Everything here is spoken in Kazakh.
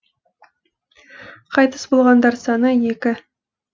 қайтыс болғандар саны екі